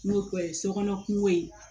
N'o o ye sokɔnɔ kungo ye